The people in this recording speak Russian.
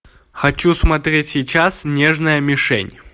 хочу смотреть сейчас нежная мишень